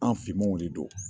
An finmanw de don